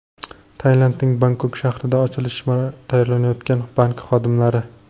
Tailandning Bangkok shahrida ochilishga tayyorlanayotgan bank xodimlari.